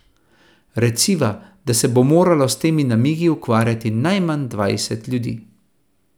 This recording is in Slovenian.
Reciva, da se bo moralo s temi namigi ukvarjati najmanj dvajset ljudi.